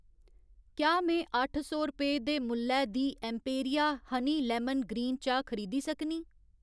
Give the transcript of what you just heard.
क्या में अट्ठ सौ रपेऽ दे मुल्लै दी एम्पेरिया हनी लेमन ग्रीन चाह् खरीदी सकनीं?